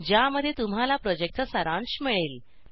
ज्यामध्ये तुम्हाला प्रॉजेक्टचा सारांश मिळेल